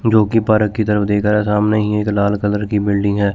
जोकि पारक की तरफ देख रहा है सामने ही एक लाल कलर की बिल्डिंग है।